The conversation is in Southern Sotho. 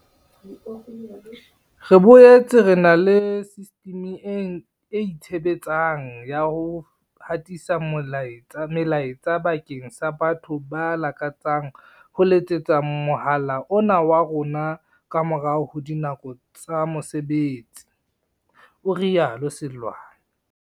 "Re boetse re na le sistimi e itshe betsang ya ho hatisa melaetsa bakeng sa batho ba lakatsang ho letsetsa mohala ona wa rona ka morao ho dinako tsa mose betsi," o rialo Seloane.